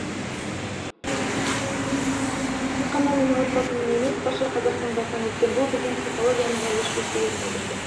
тек қана менің отбасымның емес барша қазақтың басынан өткен бұл біздің психологиямызға өшпестей із қалдырды